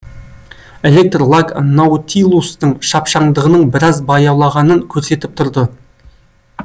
электр лаг наутилустың шапшаңдығының біраз баяулағанын көрсетіп тұрды